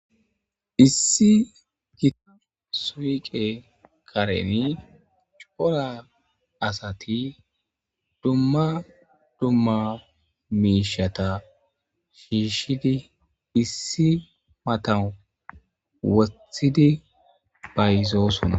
issi gitaf suwiqe kareni cupora asati dumma dumma miishata shiishidi issi matan wotthidi bayzoosuna